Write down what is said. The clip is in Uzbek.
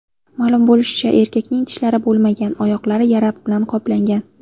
Ma’lum bo‘lishicha, erkakning tishlari bo‘lmagan, oyoqlari yara bilan qoplangan.